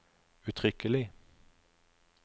uttrykkelig